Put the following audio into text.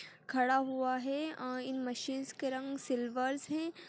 --खड़ा हुआ है अ इन मशीन्स के रंग सिलवर्स है।